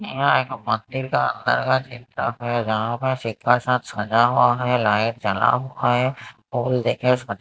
यहाँ एक मंदिर का अंदर का चिंतक हैं जहाँ पर सिक्का साथ सजा हुआ हैं लाइट जला हुआ हैं फूल देखे स--